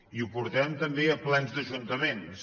i ho portarem també a plens d’ajuntaments